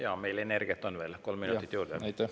Jaa, meil energiat veel on, kolm minutit juurde.